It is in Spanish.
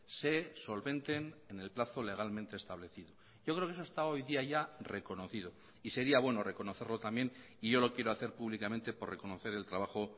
se solventen en el plazo legalmente establecido yo creo que eso está hoy día ya reconocido y sería bueno reconocerlo también y yo lo quiero hacer públicamente por reconocer el trabajo